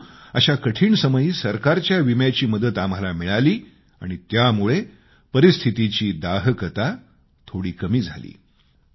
परंतु अशा कठीण समयी सरकारच्या विम्याची मदत आम्हाला मिळाली आणि त्यामुळं परिस्थितीची दाहकता थोडी कमी झाली